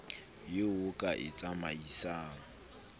eo o ka e tsamaisang